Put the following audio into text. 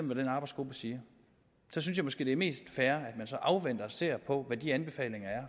hvad den arbejdsgruppe siger jeg synes måske det er mest fair at man så afventer det og ser på hvad de anbefalinger er